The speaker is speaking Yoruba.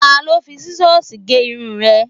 Ta ló fi Sísọ́sìì gé irun rẹ?